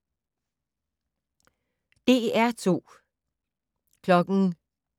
DR2